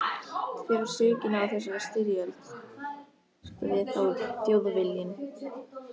Hver á sökina á þessari styrjöld? spurði Þjóðviljinn.